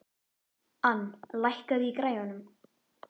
Ann, lækkaðu í græjunum.